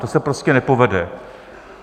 To se prostě nepovede.